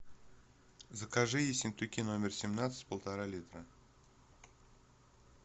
закажи ессентуки номер семнадцать полтора литра